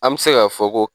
An bɛ se k'a fɔ ko